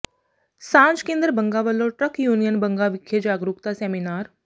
ਸਾਂਝ ਕੇਂਦਰ ਬੰਗਾ ਵੱਲੋਂ ਟਰੱਕ ਯੂਨੀਅਨ ਬੰਗਾ ਵਿਖੇ ਜਾਗਰੂਕਤਾ ਸੈਮੀਨਾਰ